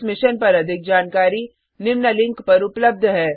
इस मिशन पर अधिक जानकारी निम्न लिंक पर उपलब्ध है